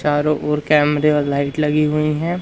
चारों ओर कैमरे और लाइट लगी हुई हैं।